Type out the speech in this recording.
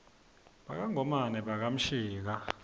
baka ngomane baka mshika